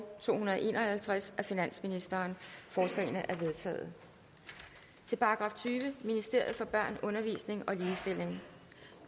to hundrede og en og halvtreds af finansministeren forslagene er vedtaget til § tyvende ministeriet for børn undervisning og ligestilling